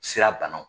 Sira banaw